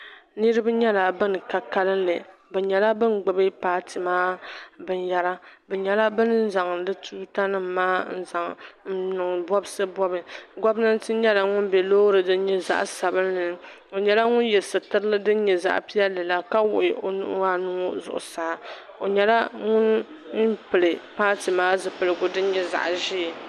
Niriba nyɛla ban ka kalilli bɛ nyɛla ban gbibi paati maa binyɛra bɛ nyɛla bin zaŋ bɛ tuuta nima maa n niŋ bobsi bobi gomnanti nyɛla ŋun be Loori din nyɛ zaɣa sabinli ni o nyɛla ŋun ye sitirili din nyɛ zaɣa piɛlli la ka wuɣi o nuhi anu ŋɔ zuɣusaa o nyɛla ŋun pili paati maa zipiligu din nyɛ zaɣa ʒee.